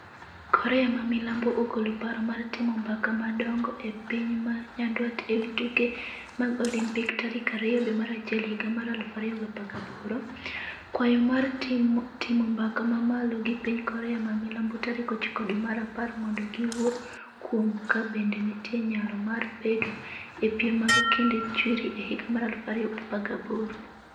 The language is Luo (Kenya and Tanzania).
Korea ma milambo ogolo paro mar timo mbaka madongo gi piny ma nyandwat e wi tuke mag Olimpik tarik 2 dwe mar achiel higa mar 2018. kwayo mar timo mbaka ma malo gi piny Korea ma milambo tarik 9 dwe mar apar mondo giwuo kuom ka be nitie nyalo mar bedo e piem mag kinde chwiri e higa mar 2018.